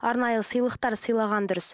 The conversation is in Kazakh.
арнайы сыйлықтар сыйлаған дұрыс